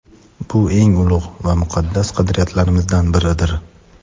Bu – eng ulug‘ va muqaddas qadriyatlarimizdan biridir.